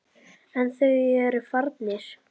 En þeir eru farnir.